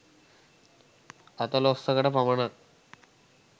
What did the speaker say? අතලොස්සකට පමණක්